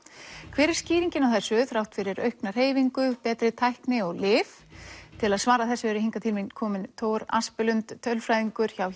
hver er skýringin á þessu þrátt fyrir aukna hreyfingu betri tækni og lyf til að svara þessu eru hingað til mín komin Thor tölfræðingur hjá